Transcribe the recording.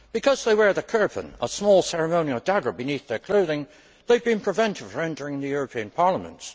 Because they wear the kirpan, a small ceremonial dagger, beneath their clothing, they have been prevented from entering the European Parliament.